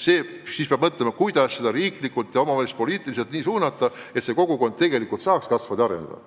siis peab mõtlema, kuidas seda protsessi riiklikult ja omavalitsuspoliitiliselt nii suunata, et kogukond saaks ikkagi areneda.